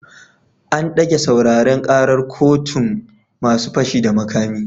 An dage sauraren karar kotun masu fashi da makami